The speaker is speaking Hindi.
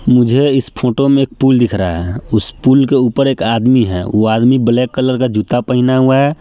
मुझे इस फोटो में एक पूल दिख रहा हैं उस पूल के उपर एक आदमी हैं वो आदमी ब्लैक कलर का जूता पहना हुआ हैं।